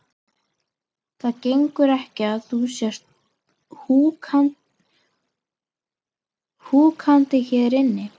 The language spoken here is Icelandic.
Það gengur ekki að þú sért húkandi hérna inni.